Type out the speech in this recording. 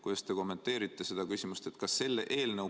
Kuidas te kommenteerite seda küsimust?